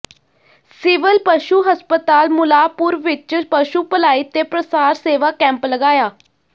civil ਪਸ਼ੂ ਹਸਪਤਾਲ ਮੁੱਲਾਂਪੁਰ ਵਿੱਚ ਪਸ਼ੂ ਭਲਾਈ ਤੇ ਪ੍ਰਸਾਰ ਸੇਵਾ ਕੈਂਪ ਲਗਾਇਆ